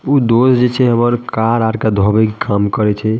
उ धोवी जे छै हमर कार आर के धोवे के काम करे छै।